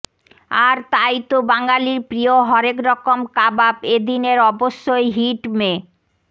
আর তাই তো বাঙালির প্রিয় হরেকরকম কাবাব এদিনের অবশ্যই হিট মে